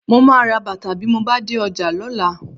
Mo máa ra bàtà bí mo bá dé ọjà lọ́la